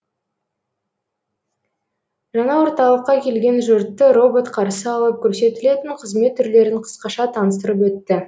жаңа орталыққа келген жұртты робот қарсы алып көрсетілетін қызмет түрлерін қысқаша таныстырып өтті